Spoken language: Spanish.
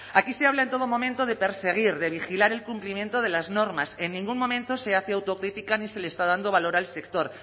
aquí se habla en todo momento de perseguir de vigilar el cumplimiento de las normas en ningún momento se hace autocrítica ni se le está dando valor al sector